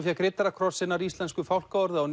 fékk riddarakross hinnar íslensku fálkaorðu á